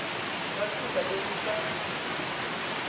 ka tsela ye le sa